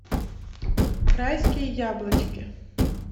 райские яблочки